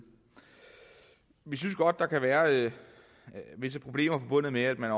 vi synes godt der kan være visse problemer forbundet med at man